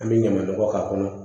An bɛ ɲama nɔgɔ k'a kɔnɔ